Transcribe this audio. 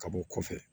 Ka bɔ kɔfɛ